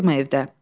Tək oturma evdə.